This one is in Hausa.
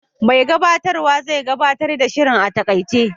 Mai gabatarwa zai gabatar da shirin a taƙaice.